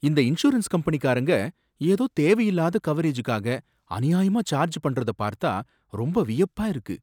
இந்த இன்சூரன்ஸ் கம்பெனிக்காரங்க ஏதோ தேவையில்லாத கவரேஜ்க்காக அநியாயமா சார்ஜ் பண்றத பார்த்தா ரொம்ப வியப்பா இருக்கு.